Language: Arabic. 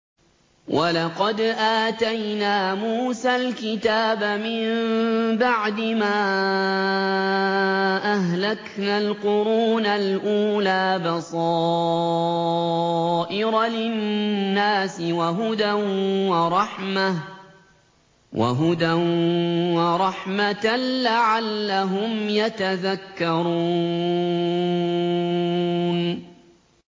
وَلَقَدْ آتَيْنَا مُوسَى الْكِتَابَ مِن بَعْدِ مَا أَهْلَكْنَا الْقُرُونَ الْأُولَىٰ بَصَائِرَ لِلنَّاسِ وَهُدًى وَرَحْمَةً لَّعَلَّهُمْ يَتَذَكَّرُونَ